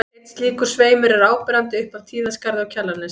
Einn slíkur sveimur er áberandi upp af Tíðaskarði á Kjalarnesi.